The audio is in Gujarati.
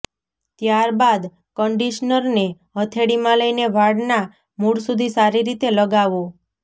ત્યાર બાદ કંડિશનરને હથેળીમાં લઈને વાળના મૂળ સુધી સારી રીતે લગાવો